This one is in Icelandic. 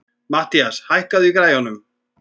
Mathías, hækkaðu í græjunum.